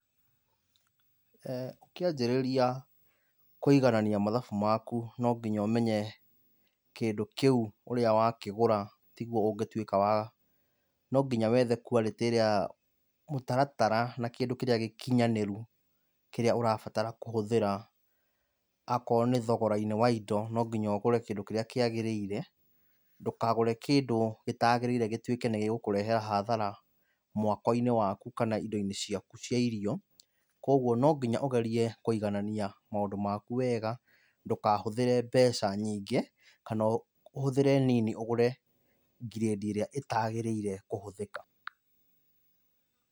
Ũkĩanjĩrĩria kũiganania mathabu maku no nginya ũmenye kĩndũ kĩu ũrĩa wakĩgũra tiguo ũngĩtuĩka wa no nginya wethe quality ĩrĩa mũtaratara na kĩndũ kĩrĩa gĩkinyanĩru kĩrĩa ũrabatara kũhũthĩra. Akorwo nĩ thogora-inĩ wa indo no nginya ũgũre kĩndũ kĩrĩa kĩagĩrĩire ndũkagũre kĩndu gĩtagĩrĩire gĩtuĩke nĩ gĩgũkũrehera hathara mwako-inĩ waku kana indo-inĩ ciaku cia irio, kwoguo no nginya ũgerie kũiganania maũndũ maku wega ndũkahũthĩre mbeca nyingĩ kana ũhũthĩre nini ũgũre ngirĩndi ĩrĩa itagĩrĩire kũhũthĩka.